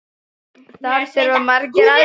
Þar þurfa margir aðstoð.